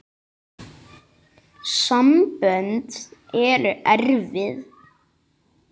Sambönd eru erfið!